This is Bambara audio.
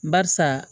Barisa